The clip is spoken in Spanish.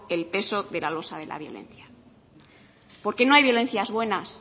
el peso de la losa de la violencia porque no hay violencias buenas